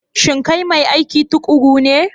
Shin kai mai aiki tuƙuru ne?